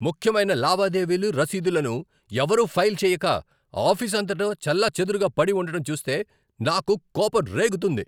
ముఖ్యమైన లావాదేవీలు, రసీదులను ఎవరూ ఫైల్ చెయ్యక, ఆఫీసు అంతటా చెల్లాచెదురుగా పడి ఉండటం చూస్తే నాకు కోపం రేగుతుంది.